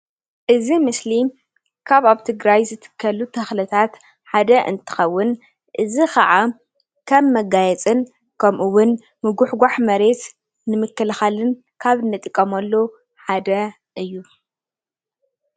እዚ ምስሊ ካብ ኣብ ትግራይ ዝትከሉ ተክልታት ሓደ እንትከውን እዚ ከዓ ከም መጋየፅን ከምኡ እውን ምጉሕጋሕ መሬት ንምክልካልን ካብ እንጥቀመሉ ሓደ እዩ፡፡